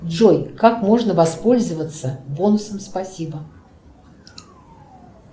джой как можно воспользоваться бонусом спасибо